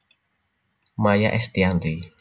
Maya Estianty